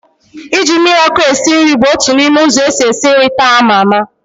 Ị ji mmiri ọkụ esi nri bụ otu n'ime ụzọ esi esi nri taa a maa ama